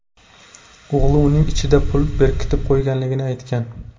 O‘g‘li uning ichida pul berkitib qo‘yganligini aytgan.